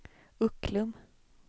Ucklum